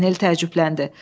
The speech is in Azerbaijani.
Paganel təəccübləndi.